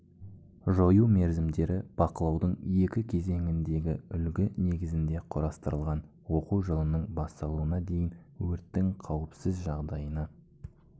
жою мерзімдері бақылаудың екі кезеңіндегі үлгі негізінде құрастырылған оқу жылының басталуына дейін өрттің қауіпсіз жағдайына